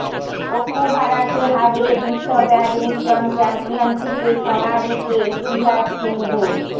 ওকুহারাকে হারিয়ে বিশ্ব ব্যাডমিন্টন চ্যাম্পিয়নশিপে সোনা জিতে ইতিহাস সিন্ধুর